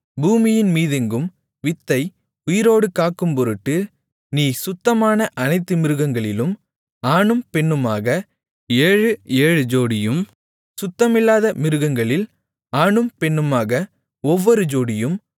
பூமியின்மீதெங்கும் வித்தை உயிரோடு காக்கும்பொருட்டு நீ சுத்தமான அனைத்து மிருகங்களிலும் ஆணும் பெண்ணுமாக ஏழு ஏழு ஜோடியும் சுத்தமில்லாத மிருகங்களில் ஆணும் பெண்ணுமாக ஒவ்வொரு ஜோடியும்